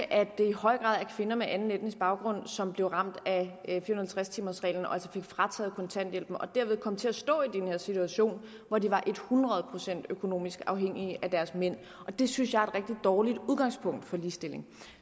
at det i høj grad er kvinder med anden etnisk baggrund som blev ramt af fire og halvtreds timers reglen og altså fik frataget kontanthjælpen og derved kom til at stå i den her situation hvor de var et hundrede procent økonomisk afhængige af deres mænd det synes jeg rigtig dårligt udgangspunkt for ligestilling